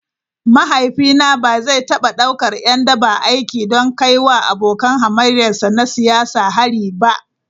Mahaifina ba zai taba daukar ’yan daba aiki don kai wa abokan hamayyarsa na siyasa hari ba.